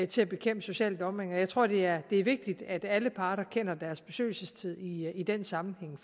til at bekæmpe social dumping jeg tror det er vigtigt at alle parter kender deres besøgelsestid i den sammenhæng